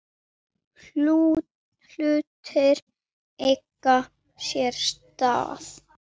Hlutir eiga sér stað.